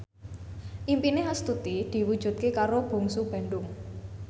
impine Astuti diwujudke karo Bungsu Bandung